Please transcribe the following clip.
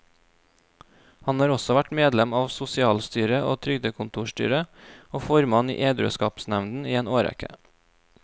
Han har også vært medlem av sosialstyret og trygdekontorstyret, og formann i edruskapsnevnden i en årrekke.